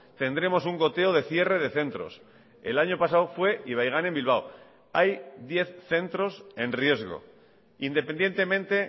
tendremos un goteo de cierre de centros el año pasado fue ibaigane en bilbao hay diez centros en riesgo independientemente